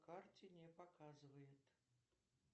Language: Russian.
карте не показывает